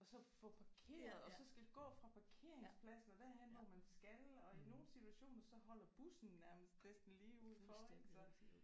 Og så få parkeret og så skal gå fra parkeringspladsen og derhen hvor man skal og i nogle situationer så holder bussen nærmest næsten lige uden for ik så